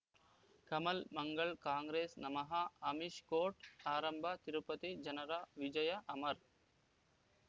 ಕಮಲ್ ಮಂಗಳ್ ಕಾಂಗ್ರೆಸ್ ನಮಃ ಅಮಿಷ್ ಕೋರ್ಟ್ ಆರಂಭ ತಿರುಪತಿ ಜನರ ವಿಜಯ ಅಮರ್